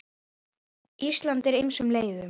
Ísland eftir ýmsum leiðum.